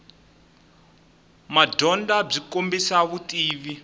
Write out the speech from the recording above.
madyondza byi kombisa vutivi